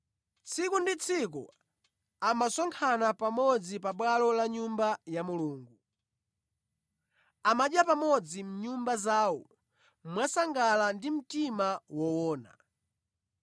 Tsiku ndi tsiku ankasonkhana pamodzi pa bwalo la pa Nyumba ya Mulungu. Ankadya pamodzi mʼnyumba zawo mwasangala ndi mtima woona.